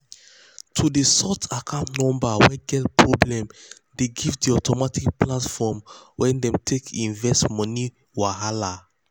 to dey sort account numbers wey get problem dey give the automatic platform wey dem dey take invest money wahala.